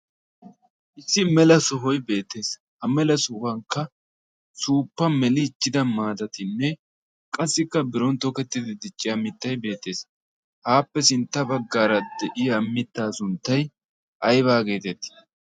issi mela sohoy beetees ha mela sohuwankka suuppa meliichida maatatinne qassikka ape sintaara diya mitaa sunttay aybaa geetettii?